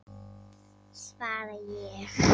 svaraði ég.